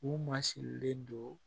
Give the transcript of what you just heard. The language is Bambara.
U ma sigilen don